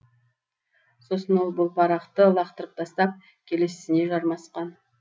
сосын ол бұл парақты лақтырып тастап келесісіне жармасқан